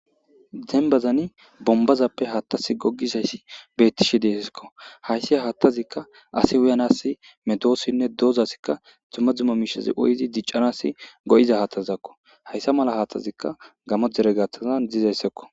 Denbazani bombazappe haattas gogisayssi beettishe deefeskko hayssi haattazikka asi wuyanassi medoossinne doozasikka tummadzuma mishazi oyzi diccanasi go'iza haatazizakko hayssa mala haathtazikka gamo jere gathazan dizayssakko.